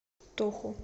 тоху